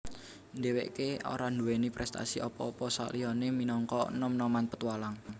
Dheweke ora duweni prestasi apa apa saliyane minangka nom noman petualang